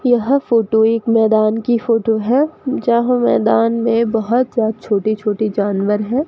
यह फोटो एक मैदान की फोटो है जहां मैदान में बहोत जा छोटे छोटे जानवर हैं।